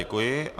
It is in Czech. Děkuji.